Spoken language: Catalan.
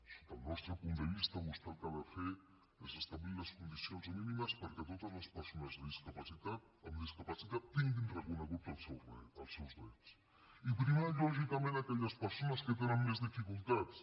sota el nostre punt de vista vostè el que ha de fer és establir les condicions mínimes perquè totes les persones amb discapacitat tinguin reconeguts els seus drets i primar lògicament aquelles persones que tenen més dificultats